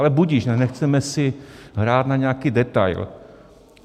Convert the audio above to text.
Ale budiž, nechceme si hrát na nějaký detail.